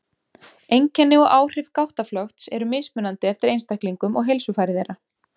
Einkenni og áhrif gáttaflökts eru mismunandi eftir einstaklingum og heilsufari þeirra.